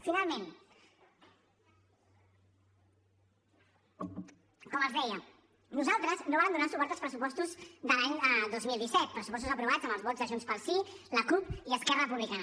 finalment com els deia nosaltres no vàrem donar suport als pressupostos de l’any dos mil disset pressupostos aprovats amb els vots de junts pel sí la cup i esquerra republicana